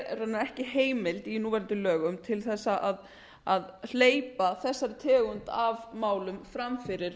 raunar ekki heimild í núverandi lögum til að hleypa þessari tegund af málum fram fyrir